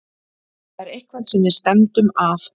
Þetta er eitthvað sem við stefndum að.